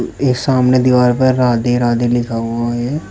एक सामने दीवार पर राधे राधे लिखा हुआ है।